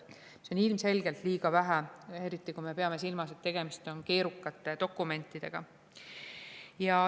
See on ilmselgelt liiga vähe, eriti kui me peame silmas, et tegemist on keerukate dokumentidega.